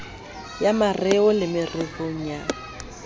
ya mareo le mererong ya